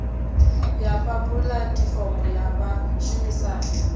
ya fha pulatifomo ya vhashumisani